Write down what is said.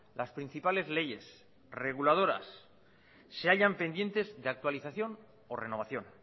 las principales leyes reguladoras se hallan pendientes de actualización o renovación